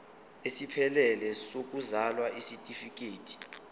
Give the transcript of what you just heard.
esiphelele sokuzalwa isitifikedi